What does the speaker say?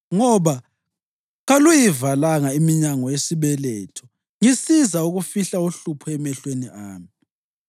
ngoba kaluyivalanga iminyango yesibeletho ngisiza ukufihla uhlupho emehlweni ami.